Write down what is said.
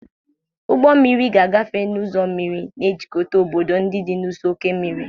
Ụgbọ mmiri ga-agafe n'ụzọ mmiri, na-ejikọta obodo ndị dị n'ụsọ oké osimiri.